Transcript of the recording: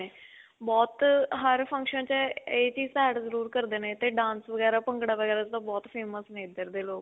ਬਹੁਤ ਹਰ function 'ਚ ਇਹ ਚੀਜ਼ ਤਾਂ add ਜਰੂਰ ਕਰਦੇ ਨੇ ਤੇ dance ਵਗੈਰਾ, ਭੰਗੜਾ ਵਗੈਰਾ ਤਾਂ ਬਹੁਤ famous ਨੇ ਇੱਧਰ ਦੇ ਲੋਕ .